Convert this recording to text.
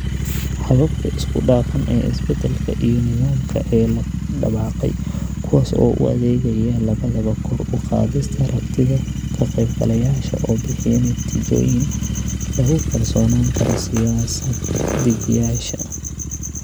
Hababka isku dhafan ee 'isbedelka' iyo 'nidaamka' ee la dabaqay, kuwaas oo u adeegaya labadaba kor u qaadista aragtida ka qaybgalayaasha oo bixiya natiijooyin lagu kalsoonaan karo siyaasad-dejiyeyaasha